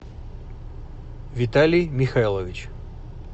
виталий михайлович